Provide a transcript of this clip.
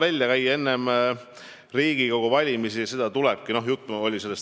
Eks enne Riigikogu valimisi tulebki ideid välja käia.